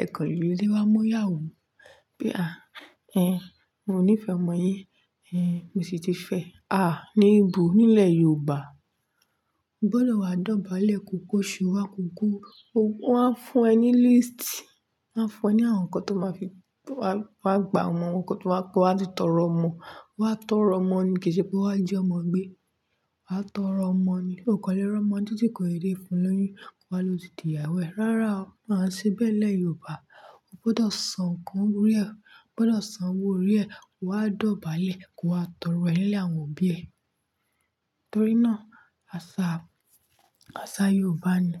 ẹ kanlé wa mu ìyàwó. Pé "à, ẹ, mo níí fẹ́ ọmọ yín, ẹ, mo sì ti fẹ́." À, ní ìbò nílẹ̀ Yorùbá. O gbọ́dọ̀ wá dọ̀bálẹ̀, ko kó iṣu wá, ko ko. Wọ́n á fún ẹ ní líísìtì, wọ́n á fún ẹ ní àwọn nǹkan tó máa fi, wa á gba àwọn nǹkan tí wọ́n á fi tọrọ ọmọ. Wọ́n á tọrọ ọmọ ni, kìí ṣe pé wọ́n á ji ọmọ gbé. Wa á tọrọ ọmọ ni, o kan le r'ọ́mọ n títí kò deedee fun l'óyún, ko wa á lo ti di ìyàwó rẹ. Rárá o, áa i ṣe bẹ nílẹ̀ Yorùbá. O gbọ́dọ̀ san nǹkan orí ẹ, o gbọ́dọ̀ san owó orí ẹ, ko wá dọ̀bálẹ̀ ko wa tọrọ ẹ ní ilé àwọn òbí ẹ. Nítorí náà, àṣà, àṣà Yorùbá ni.